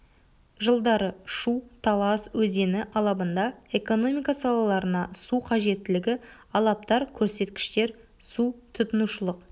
жылдары шу-талас өзені алабында экономика салаларына су қажеттілігі алаптар көрсет кіштер су тұтынушылық